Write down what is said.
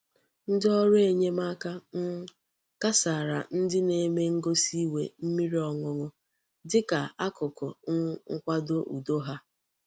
Ndi órú enyemaka um kasara ndi na-eme ngosi iwe mmiri oñuñu dika akuku um nkwado udo ha.